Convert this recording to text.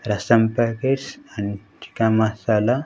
రసం packets and chicken masala.